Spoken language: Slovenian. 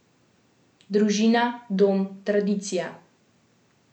Družina, dom, tradicija.